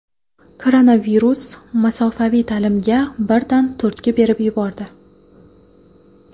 Koronavirus masofaviy ta’limga birdan turtki berib yubordi.